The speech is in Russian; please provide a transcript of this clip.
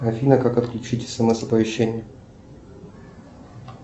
афина как отключить смс оповещение